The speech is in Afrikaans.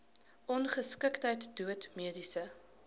ongeskiktheid dood mediese